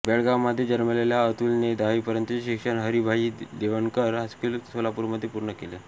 बेळगावमध्ये जन्मलेल्या अतुलने दहावीपर्यंतचे शिक्षण हरिभाई देवकरण हायस्कूल सोलापूरमध्ये पूर्ण केले